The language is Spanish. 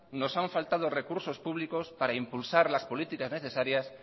nos han faltado recursos públicos para impulsar las políticas necesarias